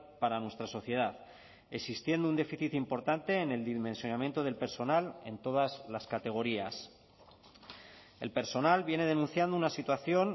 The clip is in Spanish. para nuestra sociedad existiendo un déficit importante en el dimensionamiento del personal en todas las categorías el personal viene denunciando una situación